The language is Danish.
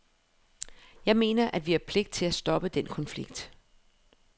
Jeg mener, at vi har pligt til at stoppe den konflikt.